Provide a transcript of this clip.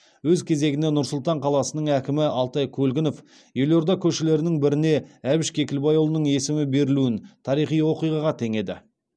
өз кезегінде нұр сұлтан қаласының әкімі алтай көлгінов елорда көшелерінің біріне әбіш кекілбайұлының есімі берілуін тарихи оқиғаға теңеді